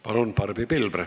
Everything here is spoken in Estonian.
Palun, Barbi Pilvre!